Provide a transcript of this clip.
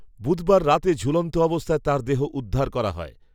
বুধবার রাতে ঝূলন্ত অবস্থায় তার দেহ উদ্ধার করা হয়